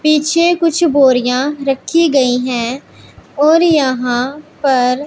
पीछे कुछ बोरियां रखी गई हैं और यहां पर--